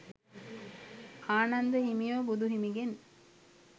ආනන්ද හිමියෝ බුදු හිමිගෙන්